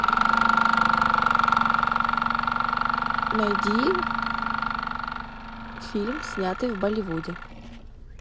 найди фильм снятый в болливуде